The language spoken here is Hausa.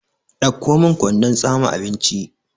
Ɗauko min kwandon tsame abinci!